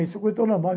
Isso é um normal.